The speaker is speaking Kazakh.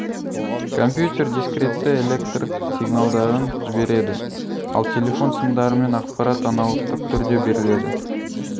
компьютер дискретті электр сигналдарын жібереді ал телефон сымдарымен ақпарат аналогтық түрде беріледі